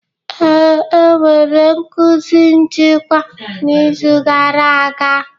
Ee, e nwere nkuzi nchịkwa n'izu gara aga.